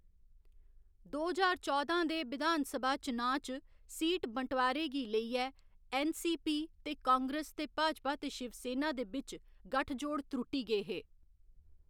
दो ज्हार चौदां दे विधान सभा चुनांऽ च सीट बंटवारे गी लेइयै ऐन्न. सी. पी. ते कांग्रेस ते भाजपा ते शिवसेना दे बिच्च गठ जोड़ त्रुट्टी गे हे।